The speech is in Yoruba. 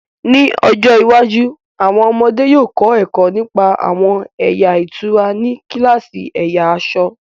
Ní ọjọ́ iwájú, àwọn ọmọdé yóò kọ́ ẹ̀kọ́ nípa àwọn ẹ̀yà ìtura ní kíláàsì ẹ̀yà aṣọ̀